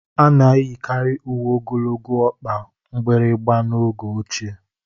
A na-eyikarị uwe ogologo ọkpa mgbịrịgba n'oge ochie